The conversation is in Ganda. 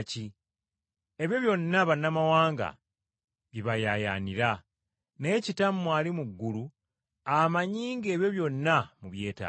Ebyo byonna bannamawanga bye bayaayaanira. Naye Kitammwe ali mu ggulu amanyi ng’ebyo byonna mubyetaaga.